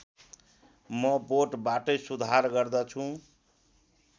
म बोटबाटै सुधार गर्दछु